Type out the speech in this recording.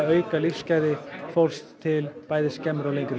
auka lífsgæði fólks til bæði skemmri og lengri